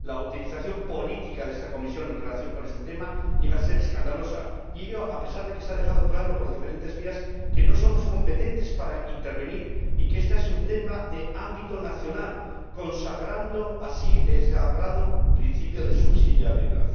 La utilización política de esta comisión en relación con este tema llega a ser escandalosa, y ello a pesar de que se ha dejado claro por diferentes vías que no somos competentes para intervenir y que este es un tema de ámbito nacional, consagrando así el principio de subsidiariedad.